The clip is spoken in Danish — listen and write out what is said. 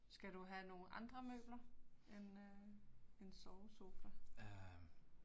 Skal du have nogle andre møbler end øh en sovesofa?